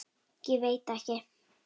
Ég veit ekki?